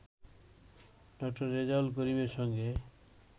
ডা. রেজাউল করিমের সঙ্গে